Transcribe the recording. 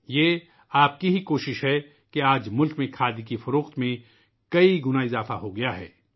یہ آپ کی ہی کوشش ہے کہ آج ملک میں کھادی کی فروخت میں کئی گنا اضافہ ہوا ہے